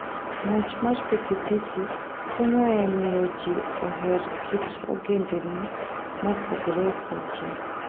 Ng'wech mar pikipiki konyo e miyo ji oher kit ogendini mopogore opogore.